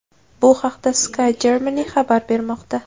Bu haqda Sky Germany xabar bermoqda .